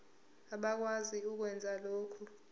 abakwazi ukwenza lokhu